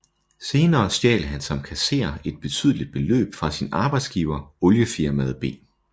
Senere stjal han som kasserer et betydeligt beløb fra sin arbejdsgiver oliefirmaet B